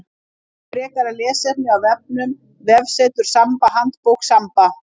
Frekara lesefni af vefnum: Vefsetur Samba Handbók Samba.